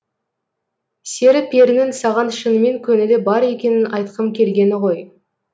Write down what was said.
сері перінің саған шынымен көңілі бар екенін айтқым келгені ғой